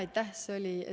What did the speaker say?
Aitäh!